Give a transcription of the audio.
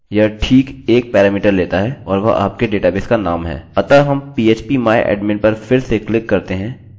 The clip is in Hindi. अतः हम php myadmin पर फिर से क्लिक करते हैं हम देख सकते हैं कि हमारे डेटाबेस का नाम phpacademy है